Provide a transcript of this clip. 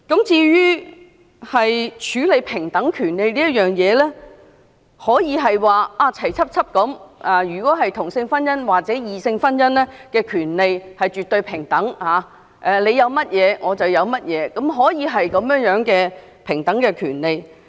至於在處理平等權利一事，可以是同性婚姻或異性婚姻的權利絕對平等，即異性婚姻有甚麼權利，同性婚姻便有甚麼權利，可以是這樣的平等權利。